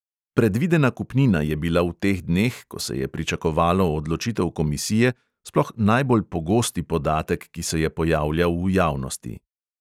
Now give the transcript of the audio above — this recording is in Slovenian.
Predvidena kupnina je bila v teh dneh, ko se je pričakovalo odločitev komisije, sploh najbolj pogosti podatek, ki se je pojavljal v javnosti.